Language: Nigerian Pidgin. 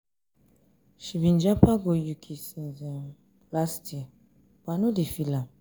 she um been japa go uk japa go uk since um last um year but i no dey feel am.